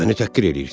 Məni təhqir eləyirsən?